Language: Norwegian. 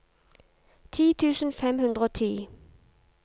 ti tusen fem hundre og ti